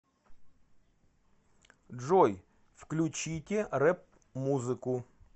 джой включите рэп музыку